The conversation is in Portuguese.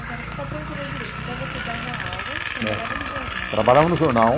Agora, só para eu entender direito, então você dava aula, trabalhava no jornal. Trabalhava no jornal.